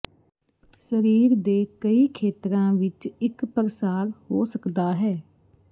ਸਰੀਰ ਦੇ ਕਈ ਖੇਤਰਾਂ ਵਿੱਚ ਇੱਕ ਪ੍ਰਸਾਰ ਹੋ ਸਕਦਾ ਹੈ